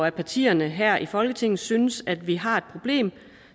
af partierne her i folketinget synes at vi har et problem